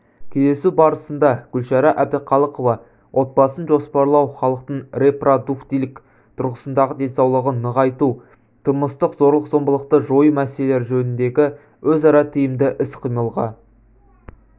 кездесу барысында гүлшара әбдіқалықова отбасын жоспарлау халықтың репродуктивтілік тұрғысындағы денсаулығын нығайту тұрмыстық зорлық-зомбылықты жою мәселелері жөніндегі өзара тиімді іс-қимылға